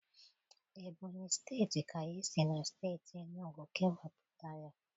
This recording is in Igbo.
Ebonyi steeti ka e si na steeti enugu kewapụta ya.